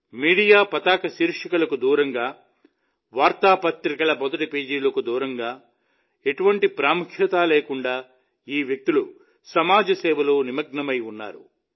media పతాక శీర్షికలకు దూరంగా వార్తాపత్రికల మొదటి పేజీలకు దూరంగా ఎటువంటి ప్రాముఖ్యత లేకుండా ఈ వ్యక్తులు సామాజిక సేవలో నిమగ్నమై ఉన్నారు